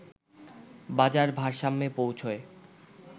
বাজার ভারসাম্যে পৌছয়